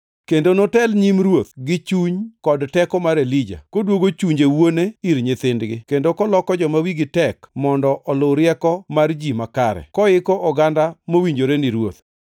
Kendo notel nyim Ruoth, gi chuny kod teko mar Elija, koduogo chunje wuone ir nyithindgi, kendo koloko joma wigi tek mondo oluw rieko mar ji makare, koiko oganda mowinjore ni Ruoth.”